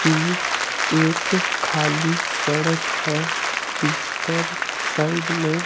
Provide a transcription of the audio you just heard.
यह एक खाली सड़क है जिस पर साइड में--